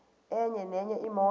enye nenye imoto